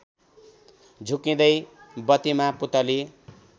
झुक्किँदै बत्तीमा पुतली